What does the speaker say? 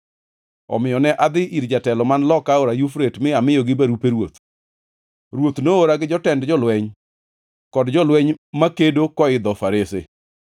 Omiyo ne adhi ir jotelo man loka aora Yufrate mi amiyogi barupe ruoth. Ruoth noora gi jotend jolweny kod jolweny makedo koidho farese.